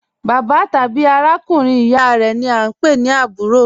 Bàbạ́ tàbí àràkùnrin ìyá rẹ ni a ń pẹ̀ ní àbúrò rẹ.